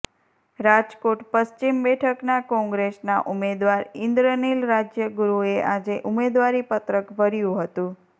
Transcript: રાજકોટ પશ્ચિમ બેઠકના કેંગ્રેસના ઉમેદવાર ઇન્દ્રનીલ રાજ્યગુરૂએ આજે ઉમેદવારી પત્રક ભર્યું હતું